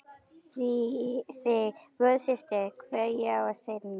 Þig, góða systir, kveð ég að sinni.